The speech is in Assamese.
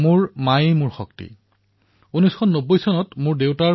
ৱাৰাংগলৰ কোড়িপাকা ৰমেশে নমো এপত মাকক নিজৰ শক্তি বুলি উল্লেখ কৰিলে